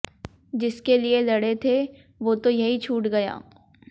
जिसके लिए लड़े थे वो तो यहीं छूट गया